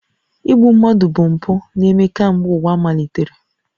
Igbu mmadụ bụ mpụ na-eme kemgbe ụwa malitere